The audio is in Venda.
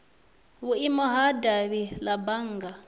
vhuimo ha davhi la bannga